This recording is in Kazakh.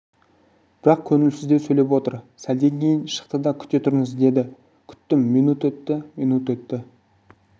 бірақ көңілсіздеу сөйлеп отыр сәлден кейін шықты да күте тұрыңыз деді күттім минөт өтті минут өтті